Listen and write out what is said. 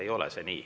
Aga see ei ole nii.